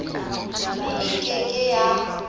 mme e ke ke ya